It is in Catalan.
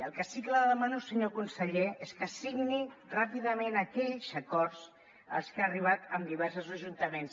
el que sí que li demano senyor conseller és que signi ràpidament aquells acords als que ha arribat amb diversos ajuntaments